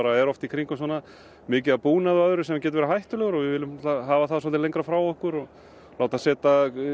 er oft í kringum svona mikið af búnaði sem getur verið hættulegur við viljum auðvitað hafa það lengra frá okkur láta setja